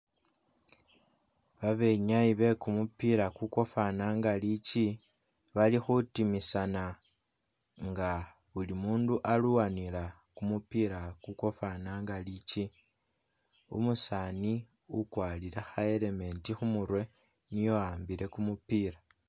Babenyayi bekumupila kukwafana nga likyi balikhutimisana nga buli'mundu alwanila kumupila kukwafananga likyi umusani ukwarile kha'element khumurwe niye uwambile kumupila